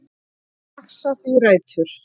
Vaxa því þrætur